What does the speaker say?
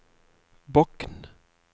Bokn